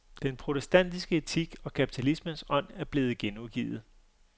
Den protestantiske etik og kapitalismens ånd, er blevet genudgivet.